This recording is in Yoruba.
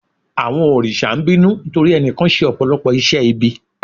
Àwọn òrìṣà ń bínú nítorí ẹnìkan ṣe Ọ̀pọ̀lọ́pọ̀ iṣẹ́ ibi.